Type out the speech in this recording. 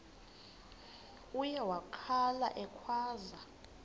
uye wakhala ekhwaza